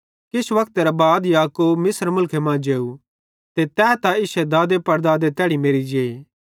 किछ वक्तेरां बाद याकूब मिस्र मुलखे मां जेव ते तै त इश्शे दादेपड़दादे तैड़ी मेरि जे